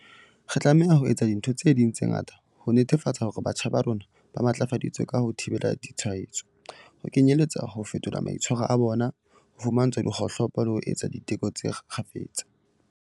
Re tlameha ho etsa dintho tse ding tse ngata ho netefatsa hore batjha ba rona ba matlafaditswe ka ho thibela ditshwaetso, ho kenyeletsa ho fetola maitshwaro a bona, ho fumantshwa dikgohlopo le ho etsa diteko kgafetsa.